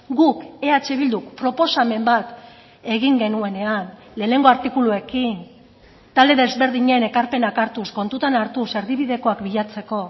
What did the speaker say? guk eh bilduk proposamen bat egin genuenean lehenengo artikuluekin talde desberdinen ekarpenak hartuz kontutan hartuz erdibidekoak bilatzeko